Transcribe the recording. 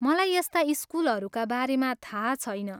मलाई यस्ता स्कुलहरूका बारेमा थाहा छैन।